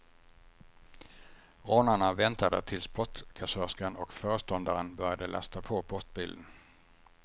Rånarna väntade tills postkassörskan och föreståndaren började lasta på postbilen.